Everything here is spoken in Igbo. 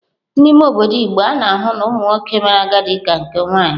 N'ime obodo igbo, a na-ahụ na ụmụ nwoke mere agadi ka nke nwaanyị.